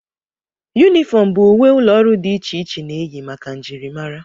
Yunifọm bụ uwe ụlọọrụ dị iche iche na-eyi maka njirimara